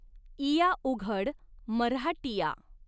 इया उघड मऱ्हाटिया।